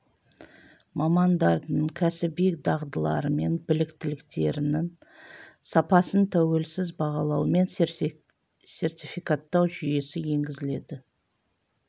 мамандардың кәсіби дағдылары мен біліктіліктерінің сапасын тәуелсіз бағалау мен сертификаттау жүйесі енгізіледі